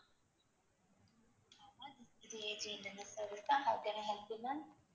AJ internet sevicehow can i help you ma'am